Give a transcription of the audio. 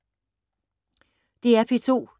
DR P2